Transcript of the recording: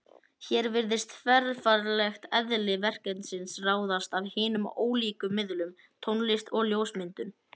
Hér virðist þverfaglegt eðli verkefnisins ráðast af hinum ólíku miðlum: Tónlist og ljósmyndum.